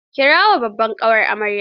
Kirawo babbar ƙawar amaryar.